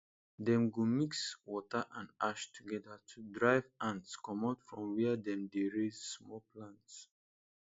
dem go mix water and ash together to drive ants comot from where dem dey raise small plants